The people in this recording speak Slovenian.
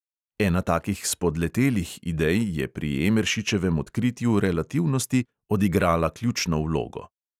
Ena takih "spodletelih" idej je pri emeršičevem odkritju relativnosti odigrala ključno vlogo.